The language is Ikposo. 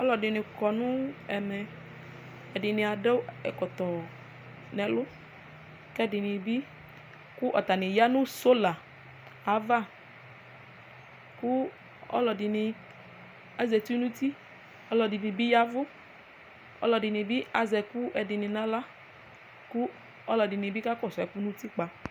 aloɛdini kɔ no ɛmɛ ɛdini ado ɛkɔtɔ n'ɛlu k'ɛdini bi kò atani ya no sola ava kò aloɛdini azati n'uti aloɛdini bi yavu aloɛdini bi azɛ ɛkò ɛdini bi n'ala kò aloɛdini bi kakɔsu ɛkò n'utikpa